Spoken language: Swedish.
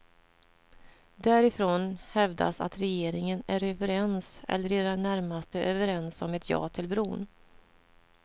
Därifrån hävdas att regeringen är överens eller i det närmaste överens om ett ja till bron.